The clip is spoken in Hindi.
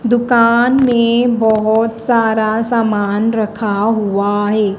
दुकान में बहोत सारा सामान रखा हुआ है।